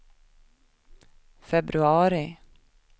februari